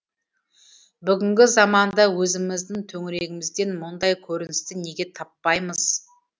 бүгінгі заманда өзіміздің төңірегімізден мұндай көріністі неге таппаймыз